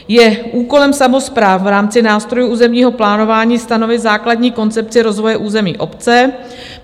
Je úkolem samospráv v rámci nástrojů územního plánování stanovit základní koncepci rozvoje území obce.